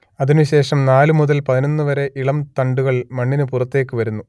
അതിനു ശേഷം നാലു മുതൽ പതിനൊന്നു വരെ ഇളം തണ്ടുകൾ മണ്ണിനു പുറത്തേക്കു വരുന്നു